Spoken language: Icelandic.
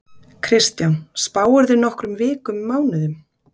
Kristján: Spáirðu nokkrum vikum mánuðum?